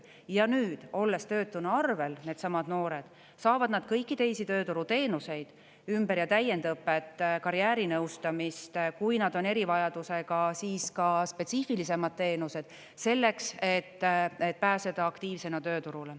Ja nüüd, olles töötuna arvel, needsamad noored, saavad nad kõiki teisi tööturuteenuseid, ümber- ja täiendõpet, karjäärinõustamist, kui nad on erivajadusega, siis ka spetsiifilisemad teenused, selleks et pääseda aktiivsena tööturule.